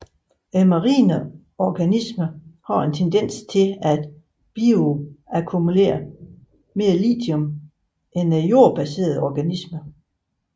Marine organismer har en tendens til at bioakkumulere mere lithium end jordbaserede organismer